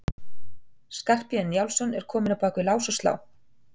Skarphéðinn Njálsson var kominn á bak við lás og slá.